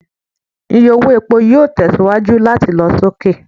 Iye owo epo yoo tẹsiwaju lati lọ soke